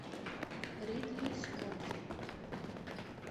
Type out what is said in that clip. ридли скотт